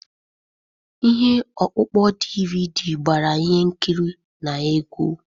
Ihe ọkpụkpọ DVD gbara ihe nkiri na egwu.